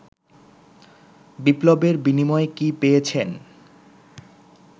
বিপ্লবের বিনিময়ে কী পেয়েছেন